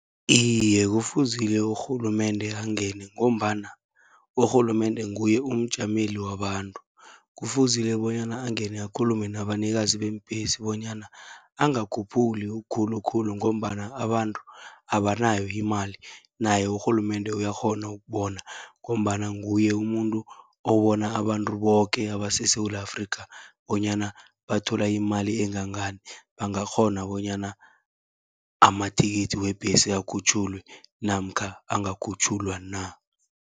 Iye, kufuzile urhulumende angene, ngombana urhulumende nguye umjameli wabantu. Kufuzile bonyana angene akhulume nabanikazi beembhesi, bonyana angakhuphuli khulukhulu ngombana abantu abanayo imali, naye urhulumende uyakghona ukubona. Ngombana nguye umuntu obona abantu boke abaseSewula Afrika, bonyana bathola imali engangani bangakghona bonyana amathikithi webhesi, akhutjhulwe namkha angakhutjhulwa na.